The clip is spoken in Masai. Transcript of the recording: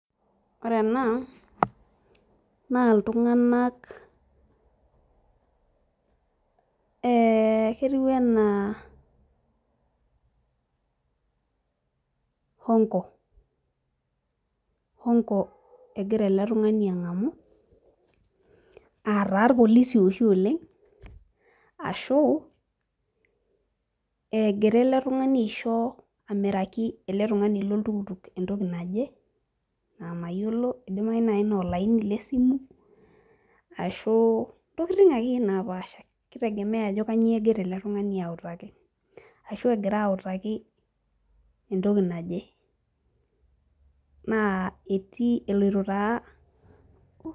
Ore ena naa iltung'anak eh ketiu enaa hongo, hongo egira ele tung'ani ang'amu ataa irpolisi oshi oleng ashu egira ele tung'ani aisho amiraki ele tung'ani loltukutuk entoki naje naa mayiolo idimai naaji naa olaini lesimu ashu intokiting akeyie napaasha kitegemea ajo kanyio egira ele tung'ani autaki ashu egira autaki entoki naje naa etii eloito taa.